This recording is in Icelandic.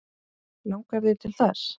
Langar þig til þess?